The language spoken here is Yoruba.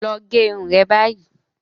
Lọ gẹ irun re báyìí!